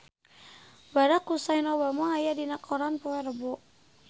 Barack Hussein Obama aya dina koran poe Rebo